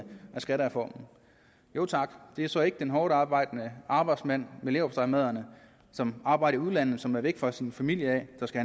skattereformen jo tak det er så ikke den hårdtarbejdende arbejdsmand med leverpostejmadderne som arbejder i udlandet og som er væk fra sin familie som skal